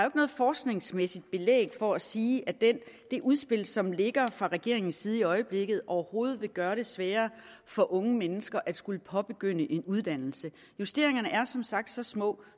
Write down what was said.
ikke noget forskningsmæssigt belæg for at sige at det udspil som ligger fra regeringens side i øjeblikket overhovedet vil gøre det sværere for unge mennesker at skulle påbegynde en uddannelse justeringerne er som sagt så små